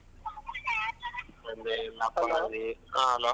ನಂದೇನಿಲ್ಲ ಪ ರಂಜಿತ್. ಹಾ hello .